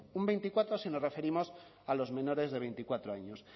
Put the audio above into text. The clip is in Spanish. un veinticuatro por ciento si nos referimos a los menores de veinticuatro años